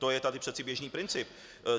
To je tady přece běžný princip.